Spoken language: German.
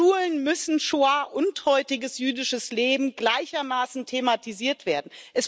An Schulen müssen Schoah und heutiges jüdisches Leben gleichermaßen thematisiert werden.